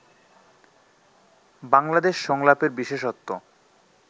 বাংলাদেশ সংলাপের বিশেষত্ব